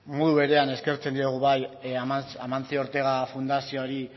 modu berean eskertzen diogu bai amancio ortega fundazioari